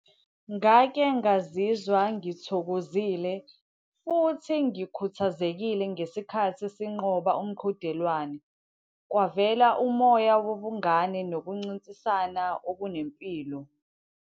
Ngake ngazizwa ngithokozile futhi ngikhuthazekile ngesikhathi sinqoba umqhudelwano. Kwavela umoya wobungane nokuncintisana okunempilo.